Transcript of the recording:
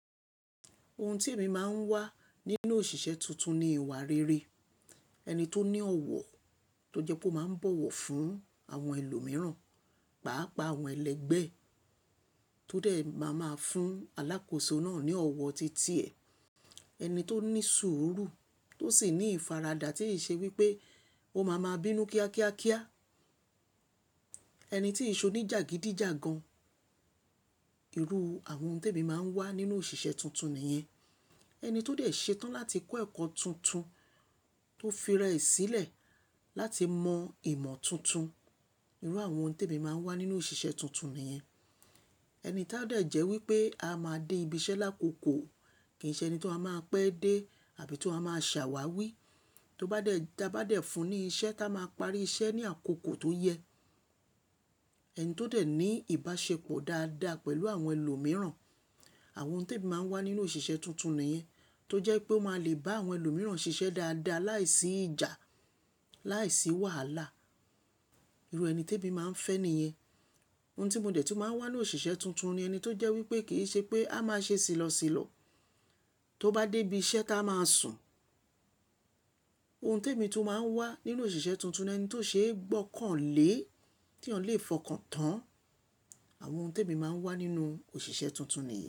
Ohun tí èmi máa ń wá nínú òṣìṣẹ́ tuntun ni ìwà rere, ẹni tó ní ọ̀wọ̀ tó jẹ́ pé ó máa ń bọ̀wọ̀ fún àwọn ẹlòmíràn, pàápàá àwọn ẹlẹgbẹ́ ẹ tó dẹ̀ máa máa fún alákòóso náà ní ọ̀wọ̀ titi ẹ̀. Ẹni tó ní sùúrù tó sì ní ìfaradà tí ì ṣe wípé ó máa ma bínú kíákíákíá. Ẹni tí ìṣò ni jàgídíjàgan. Irú àwọn ohun tí èmi máa ń wá nínú òṣìṣẹ́ tuntun nìyẹn. Ẹni tó dẹ̀ ṣetán láti kọ́ ẹ̀kọ́ tuntun tó fi rẹ̀ sílẹ̀ láti mọ ìmọ̀ tuntun. Irú àwọn ohun tí èmi máa ń wá nínú òṣìṣẹ́ tuntun nìyẹn. Ẹni ti a dẹ jẹ́ wípé a máa dé ibi iṣẹ́ lákòókò kì í ṣe ẹni tó a máa pẹ́ dé àbí tó a máa ṣàwàwí, tó bá dẹ̀, da bá dẹ̀ fún ní iṣẹ́ tá a máa parí iṣẹ́ ní àkókò tó yẹ. Ẹni tó dẹ̀ ní ìbáṣepọ̀ dáadáa pẹ̀lú àwọn ẹlòmíràn. Àwọn ohun tí èmi máa ń wá nínú òṣìṣẹ́ tuntun nìyẹn. Tó jẹ́ pé ó máa le bá àwọn ẹlòmíràn ṣiṣẹ́ dáadáa láìsí ìjà, láìsí wàhálà. Irú ẹni tí èmi máa ń fẹ́ nìyẹn. Ohun tí mo dẹ̀ tí máa ń wá nínú òṣìṣẹ́ tuntun ni ẹni tó jẹ́ wípé kì í ṣe pé a máa ṣe sìlọsìlọ tó bá dé ibi iṣẹ́ tá a máa sùn. Ohun tí èmi tún máa ń wá nínú òṣìṣẹ́ tuntun ni ẹni tó ṣeé gbọ́ kàn lé, tí wọn lè fọkàn tán. Àwọn ohun tí èmi máa ń wá nínú òṣìṣẹ́ tuntun nìyẹn.